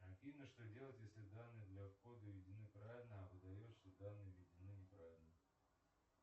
афина что делать если данные для входа введены правильно а выдает что данные введены неправильно